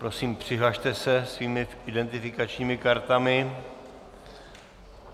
Prosím, přihlaste se svými identifikačními kartami.